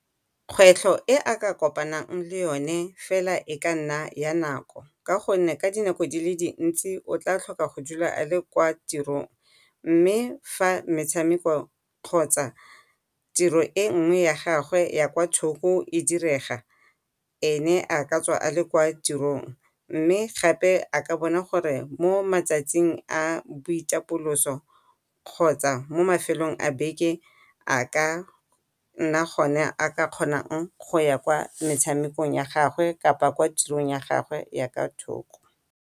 Kgwetlho e a ka kopanang le yone fela e ka nna ya nako ka go nne ka dinako di le dintsi o tla tlhoka go dula a le kwa tirong, mme fa metshameko kgotsa tiro e nngwe ya gagwe ya kwa thoko e direga e ne a ka tswa a le kwa tirong. Mme gape a ka bona gore mo matsatsing a boitapoloso, kgotsa mo mafelong a beke a ka nna gone a kgonang go ya kwa metshamekong ya gagwe kgotsa kwa tirong ya gagwe ya kwa thoko.